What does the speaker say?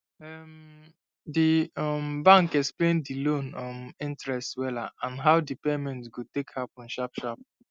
um the um bank explain the loan um interest wella and how the payment go take happen sharp sharp